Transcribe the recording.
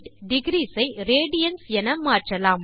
degrees ஐ radians என மாற்றலாம்